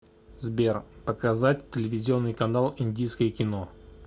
сбер показать телевизионный канал индийское кино